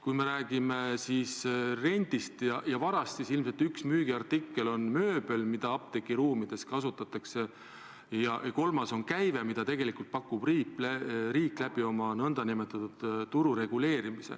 Kui me räägime rendist ja varast, siis ilmselt üks müügiartikkel on mööbel, mida apteegiruumides kasutatakse, ja kolmas on käive, mida tegelikult riik pakub n-ö turgu reguleerides.